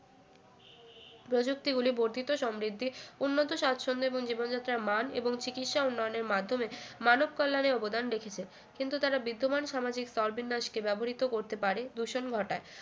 প্রযুক্তিগুলি বর্ধিত সমৃদ্ধি উন্নত সাচ্ছন্দ্য এবংজীবন যাত্রার মান এবং চিকিৎসা উন্নয়নের মাধ্যমে মানব কল্যাণে অবদান রেখেছে কিন্তু তারা বিদ্যমান সামাজিক স্তরবিন্যাসকে ব্যবহৃত করতে পারে দূষণ ঘটায়